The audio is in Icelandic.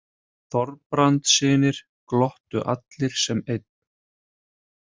Þorbrandssynir glottu allir sem einn.